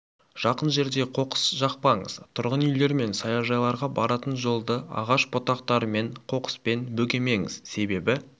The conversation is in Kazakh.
жақын жерде қоқыс жақпаңыз тұрғын үйлер мен саяжайларға баратын жолды ағаш бұтақтарымен қоқыспен бөгемеңіз себебі